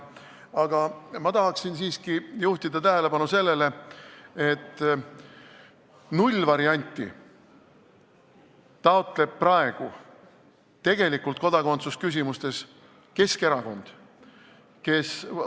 Aga ma tahan siiski juhtida tähelepanu sellele, et nullvarianti taotleb praegu tegelikult kodakondsusküsimustes Keskerakond, kes ...